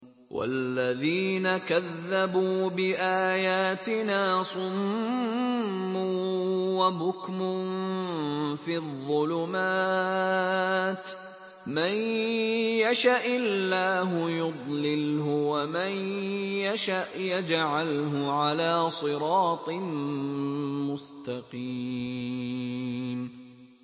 وَالَّذِينَ كَذَّبُوا بِآيَاتِنَا صُمٌّ وَبُكْمٌ فِي الظُّلُمَاتِ ۗ مَن يَشَإِ اللَّهُ يُضْلِلْهُ وَمَن يَشَأْ يَجْعَلْهُ عَلَىٰ صِرَاطٍ مُّسْتَقِيمٍ